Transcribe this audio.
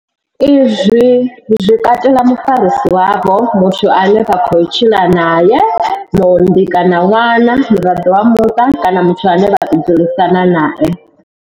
Izwi zwi katela mufarisi wavho, muthu ane vha tshila nae, muunḓi kana ṅwana, muraḓo wa muṱa kana muthu ane vha tou dzulisana nae.